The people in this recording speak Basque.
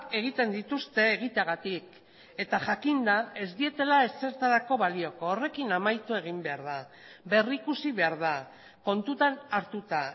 egiten dituzte egiteagatik eta jakinda ez dietela ezertarako balioko horrekin amaitu egin behar da berrikusi behar da kontutan hartuta